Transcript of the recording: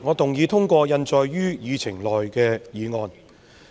主席，我動議通過印載於議程內的議案。